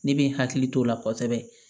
Ne bɛ n hakili t'o la kosɛbɛ